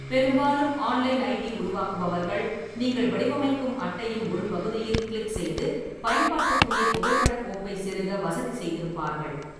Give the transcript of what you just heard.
பெரும்பாலும் online ID உருவாக்குபவர்கள், நீங்கள் வடிவமைக்கும் அட்டையின் ஒரு பகுதியில் கிளிக் செய்து பயன்பாட்டுக்குரிய புகைப்படக் கோப்பைச் செருக வசதி செய்திருப்பார்கள்.